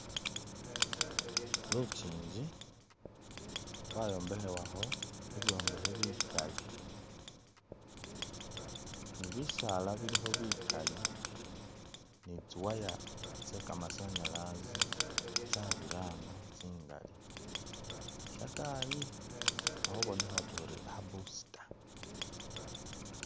Lukyinji lwayombekhebwakho ibyombekhe bikali, ni bisaala bilikho bikali ni tsi'wire tse kamasanyalazi tsabirana tsingali, shataayi akhubonekha otuya ori kha booster